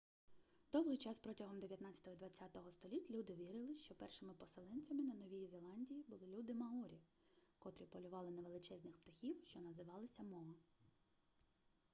довгий час протягом дев'ятнадцятого і двадцятого століть люди вірили що першими поселенцями на новій зеландії були люди маорі котрі полювали на величезних птахів що називалися моа